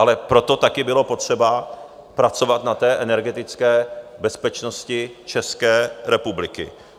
Ale proto taky bylo potřeba pracovat na té energetické bezpečnosti České republiky.